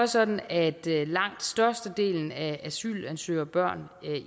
sådan at langt størstedelen af asylansøgerbørn